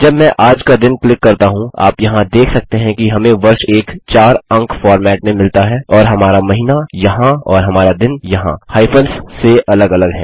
जब मैं आज का दिन क्लिक करता हूँ आप यहाँ देख सकते हैं कि हमें वर्ष एक 4 अंक फॉर्मेट में मिला है और हमारा महीना यहाँ और हमारा दिन यहाँ हाईफंस से अलग अलग हैं